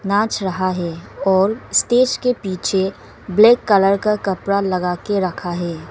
नाच रहा हैं और स्टेज के पीछे ब्लैक कलर का कपड़ा लगा के रखा है।